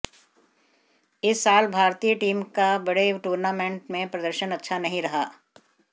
इस साल भारतीय टीम का बड़े टूर्नामेंटों में प्रदर्शन अच्छा नहीं रहा